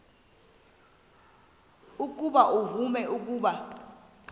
ukuba uvume ukuba